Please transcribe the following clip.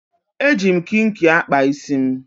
Eji m kinki akpa isi m.